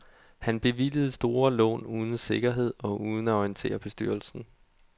Han bevilgede store lån uden sikkerhed og uden at orientere bestyrelsen.